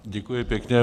Děkuji pěkně.